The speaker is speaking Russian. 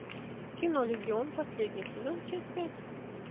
кино легион последний сезон часть пять